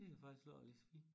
Det har faktisk lå lige så fint